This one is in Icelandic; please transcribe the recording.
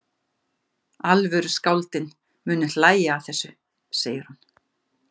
Alvöru skáldin munu hlæja að þessu, segir hún.